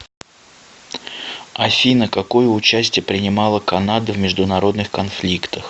афина какое участие принимала канада в международных конфликтах